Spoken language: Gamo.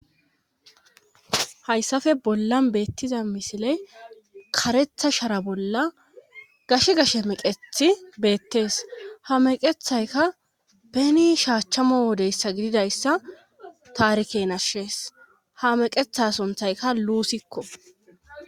hayssafe bollan beettiza misiley karetha shara bolla gash gashe meqethi beettees ha meqethayka peni shaachchamo wodeyssa gididayssa taarikenashees ha meqetha sunthayka luusikko